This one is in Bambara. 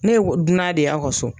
Ne wɔ dunan de y'aw ka so